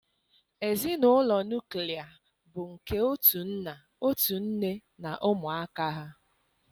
Ezinụlọ nuklia bụ nke otu nna, otu nne na ụmụaka ha